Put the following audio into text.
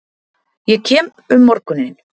Ég kem um morguninn.